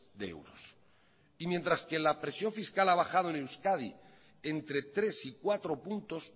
de euros y mientras que la presión fiscal ha bajado en euskadi entre tres y cuatro puntos